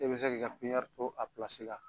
E bɛ se k'i ka to a la